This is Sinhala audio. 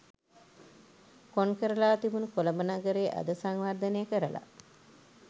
කොං කරලා තිබුණු කොළඹ නගරය අද සංවර්ධනය කරලා